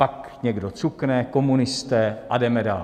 Pak někdo cukne - komunisté - a jdeme dál.